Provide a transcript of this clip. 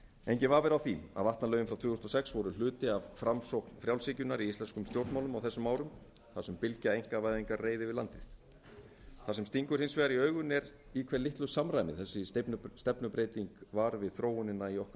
vafi er á því að vatnalögin frá tvö þúsund og sex voru hluti af framsókn frjálshyggjunnar í íslenskum stjórnmálum á þessum árum þar sem bylgja einkavæðingar reið yfir landið það sem stingur hins vegar í augun er í hve litlu samræmi þessi stefnubreyting var við þróunina í okkar